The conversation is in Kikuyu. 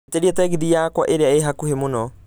njĩtĩria tegithi yakwa ĩria ĩ hakuhĩ mũno